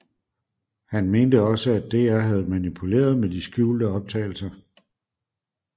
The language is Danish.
Han mente også at DR havde manipuleret med de skjulte optagelser